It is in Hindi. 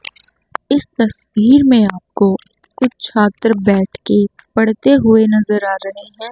इस तस्वीर में आपको कुछ छात्र बैठकर पढ़ते हुए नजर आ रहे हैं।